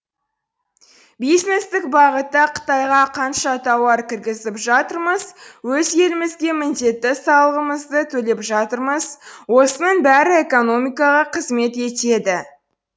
бизнестік бағытта қытайға қанша тауар кіргізіп жатырмыз өз елімізге міндетті салығымызды төлеп жатырмыз осының бәрі экономикаға қызмет етеді